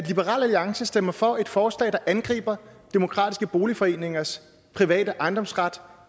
liberal alliance stemmer for et forslag der angriber demokratiske boligforeningers private ejendomsret